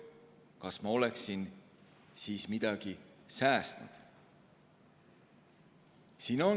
Kas ma oleksin siis midagi säästnud?